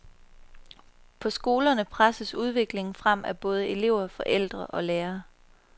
På skolerne presses udviklingen frem af både elever, forældre og lærere.